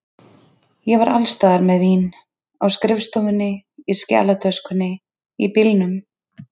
Ég var alls staðar með vín, á skrifstofunni, í skjalatöskunni, í bílnum.